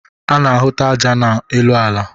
A na-ahụta aja n'elu ala.